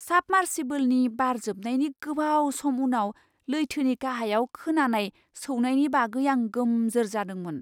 साबमार्सिबोलनि बार जोबनायनि गोबाव सम उनाव लैथोनि गाहायाव खोनानाय सौनायनि बागै आं गोमजोर जादोंमोन।